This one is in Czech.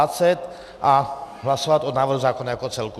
A hlasovat o návrhu zákona jako celku.